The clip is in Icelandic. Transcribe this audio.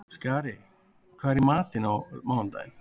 Skari, hvað er í matinn á mánudaginn?